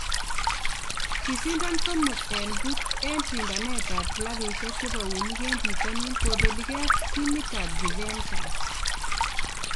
kisindan somok en puch en sindaneet ap klapisiek chepaunig e pitanin kopeligee ak timitap Juventus